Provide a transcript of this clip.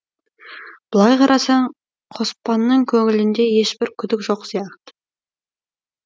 былай қарасаң қоспанның көңілінде ешбір күдік жоқ сияқты